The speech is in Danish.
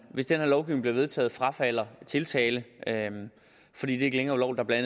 hvis den her lovgivning bliver vedtaget frafalder tiltale fordi det ikke længere vil være